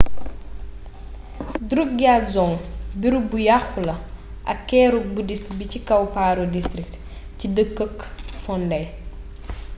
drukgyal dzong beereeb bu yaxxu la ak keeruk buddhist bi ci kaw paro district ci deekeeuk phondey